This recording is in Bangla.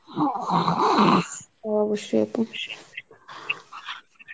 অবশ্যই আপু